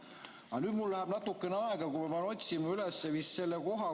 Aga nüüd mul läheb natukene aega, kuni ma otsin üles selle koha.